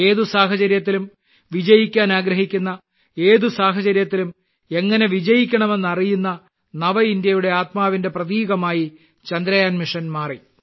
ഏത് സാഹചര്യത്തിലും വിജയിക്കാൻ ആഗ്രഹിക്കുന്ന ഏത് സാഹചര്യത്തിലും എങ്ങനെ വിജയിക്കണമെന്ന് അറിയുന്ന നവഇന്ത്യയുടെ ആത്മാവിന്റെ പ്രതീകമായി ചന്ദ്രയാൻ മിഷൻ മാറി